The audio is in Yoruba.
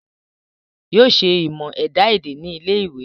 Yóò ṣe ìmọ̀ ẹ̀dá èdè ní ilé ìwé